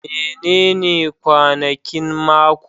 Menene kwanakin mako?